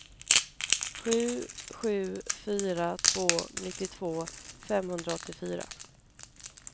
sju sju fyra två nittiotvå femhundraåttiofyra